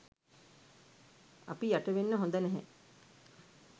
අපි යටවෙන්න හොද නැහැ.